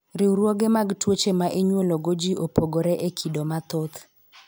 riwruoge mag tuiche ma inyuolo go ji opogore e kodo mathoth.